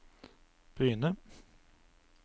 Bryne